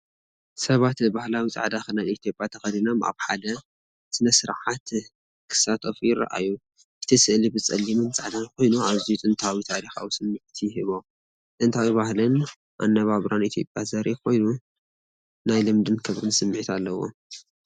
ሰባት ባህላዊ ጻዕዳ ክዳን ኢትዮጵያ ተኸዲኖም ኣብ ሓደ ስነ-ስርዓት ክሳተፉ ይረኣዩ። እቲ ስእሊ ብጸሊምን ጻዕዳን ኮይኑ፡ ኣዝዩ ጥንታውን ታሪኻውን ስምዒት ይህቦ። ጥንታዊ ባህልን ኣነባብራን ኢትዮጵያ ዘርኢ ኮይኑ፡ ናይ ልምድን ክብርን ስምዒት ኣለዎ።